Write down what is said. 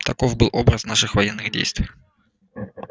таков был образ наших военных действий